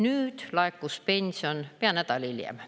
Nüüd laekus pension pea nädal hiljem.